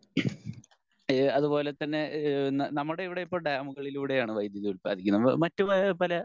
അതുപോലെതന്നെ ഈഹ് നമ്മുടെ ഇവിടെ ഇപ്പൊ ഡാമുകളിലൂടെ ആണ് വൈദ്യുതി ഉൽപാദിപ്പിക്കുന്നത് മറ്റു പല